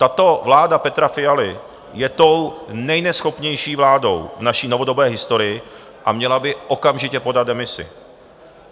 Tato vláda Petra Fialy je tou nejneschopnější vládou v naší novodobé historii a měla by okamžitě podat demisi.